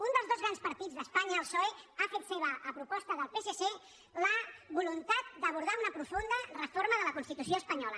un dels dos grans partits d’espanya el psoe ha fet seva a proposta del psc la voluntat d’abordar una profunda reforma de la constitució espanyola